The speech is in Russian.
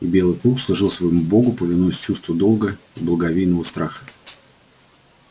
и белый клык служил своему богу повинуясь чувству долга и благовейного страха